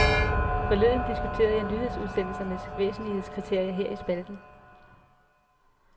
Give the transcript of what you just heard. Forleden diskuterede jeg nyhedsudsendelsernes væsentlighedskriterier her i spalten.